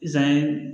Zan ye